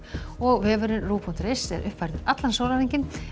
og vefurinn ruv punktur is er uppfærður allan sólarhringinn